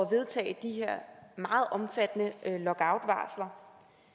vedtage de her meget omfattende lockoutvarsler